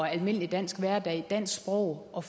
almindelig dansk hverdag og dansk sprog og